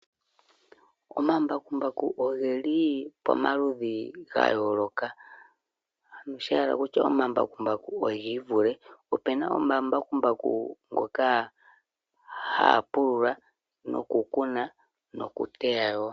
Omambakumbaku ogeli pomaludhi ga yooloka noshayela kutya omambakumbaku ogivule opena omambakumbaku ngoka haga pulula noku kuna nokuteya.